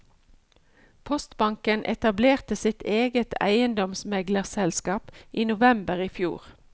Postbanken etablerte sitt eget eiendomsmeglerselskap i november i fjor.